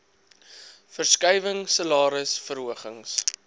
verskuiwing salaris verhogings